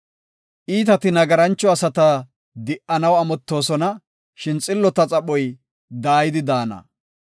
Iitati nagarancho asata di77anaw amottoosona; shin xillota xaphoy daayidi de7ana.